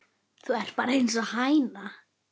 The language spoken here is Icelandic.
Þú ert bara einsog hæna.